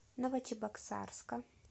новочебоксарска